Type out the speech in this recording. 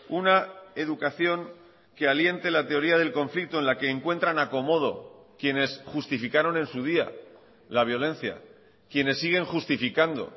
una educación que aliente la teoría del conflicto en la que encuentran acomodo quienes justificaron en su día la violencia quienes siguen justificando